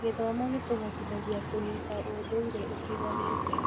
Gĩthomo gĩtũhotithagia kũnyita ũndũire ũtiganĩte.